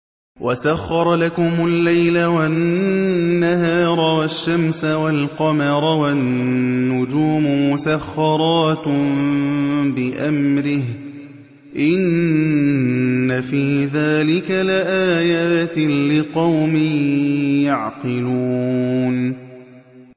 وَسَخَّرَ لَكُمُ اللَّيْلَ وَالنَّهَارَ وَالشَّمْسَ وَالْقَمَرَ ۖ وَالنُّجُومُ مُسَخَّرَاتٌ بِأَمْرِهِ ۗ إِنَّ فِي ذَٰلِكَ لَآيَاتٍ لِّقَوْمٍ يَعْقِلُونَ